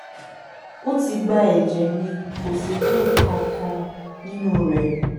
ó ti gba ẹjẹ mi kò sì rí nǹkan kan nínú rẹ